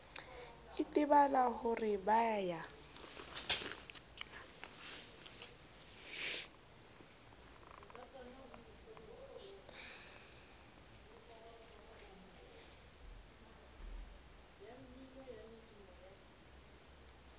itebala ho re ba ya